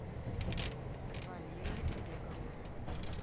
валерии олеговны